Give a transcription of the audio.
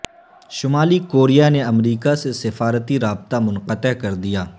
شمالی کوریا نے امریکہ سے سفارتی رابطہ منقطع کر دیا